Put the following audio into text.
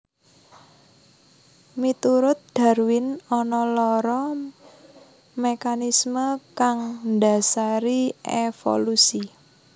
Miturut Darwin ana loro mekanismé kang ndhasari évolusi